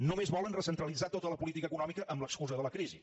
només volen recentralitzar tota la política econòmica amb l’excusa de la crisi